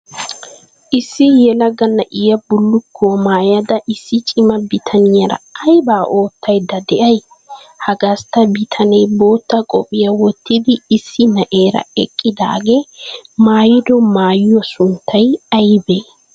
Issi yelaga na'iya bullukkuwa maayada issi cima bitaniyara aybaa oottaydda de'ay? Ha gastta bitanee bootta qophphiya wottidi issi na'eera eqqidaagee maayido maayuwa sunttay aybee?